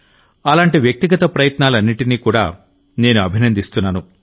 అలాంటి వ్యక్తిగత ప్రయత్నాలన్నింటినీ కూడా నేను అభినందిస్తున్నాను